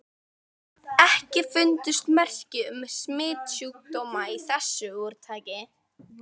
EKKI FUNDUST MERKI UM SMITSJÚKDÓMA Í ÞESSU ÚRTAKI.